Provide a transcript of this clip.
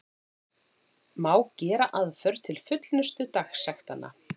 Má gera aðför til fullnustu dagsektanna.